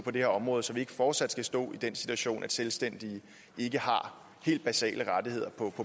på det her område så vi ikke fortsat skal stå i den situation at selvstændige ikke har helt basale rettigheder på